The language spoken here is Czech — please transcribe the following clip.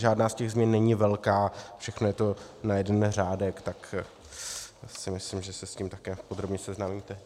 Žádná z těch změn není velká, všechno je to na jeden řádek, tak si myslím, že se s tím také podrobně seznámíte.